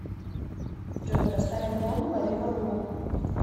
джой поставь альбом ловиволну